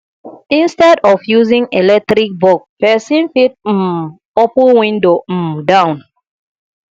instead of using electric bulb person fit um open window um down